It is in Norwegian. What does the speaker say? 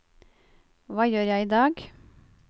hva gjør jeg idag